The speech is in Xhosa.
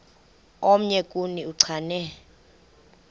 omnye kuni uchane